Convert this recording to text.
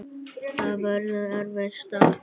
Það verður erfitt starf.